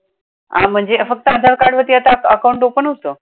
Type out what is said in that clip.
आणि म्हणजे आधार card वरती आता account open होतं?